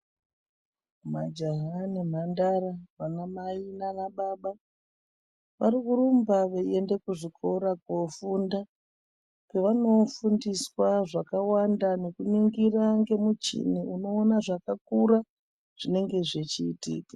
Majaha nemhandara, vanamai nanababa varikurumba veiende kuzvikora kofunda, kwevanofundiswa zvakawanda nekuningira ngezvemuchini unoona ngezvakakura zvichiitika.